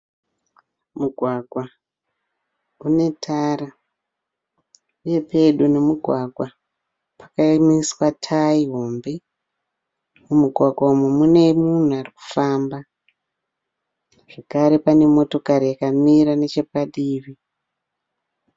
Mugwagwa unetara uye pedo nemugwagwa pakakamiswa tayi hombe .Mumugwagwa umu mune munhu arikufamba zvekare pane mota yakamira nechepadivi.